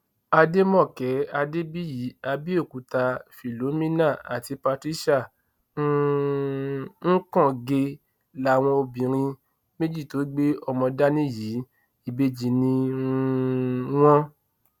àdèmàkè adébíyì àbẹòkúta philomena àti patricia um ukànge làwọn obìnrin méjì tó gbé ọmọ dání yìí ìbejì ni um wọn